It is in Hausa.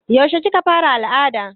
Yaushe kika fara al'ada?